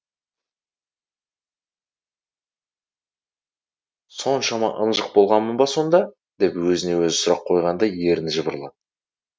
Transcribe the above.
соншама ынжық болғанмын ба сонда деп өзіне өзі сұрақ қойғандай ерні жыбырлады